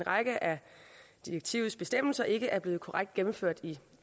række af direktivets bestemmelser ikke er blevet korrekt gennemført i